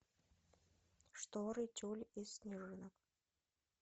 шторы тюль из снежинок